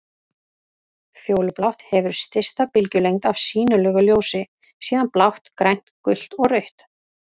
Fjólublátt hefur stysta bylgjulengd af sýnilegu ljósi, síðan blátt, grænt, gult og rautt.